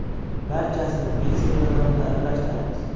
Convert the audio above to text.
Barchasini mikser yordamida aralashtiramiz.